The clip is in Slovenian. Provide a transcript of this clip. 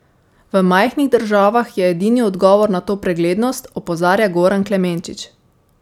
V majhnih državah je edini odgovor na to preglednost, opozarja Goran Klemenčič.